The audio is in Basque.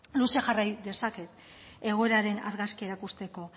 luze jarrai dezaket egoeraren argazkia erakusteko